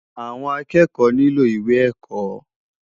Awòn ákèékò nilò iwé èkò